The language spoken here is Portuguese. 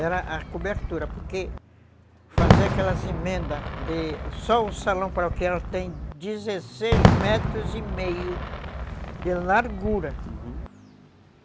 Era a cobertura, porque fazer aquelas emendas de... Só o salão paroquial tem dezesseis metros e meio de largura, uhum.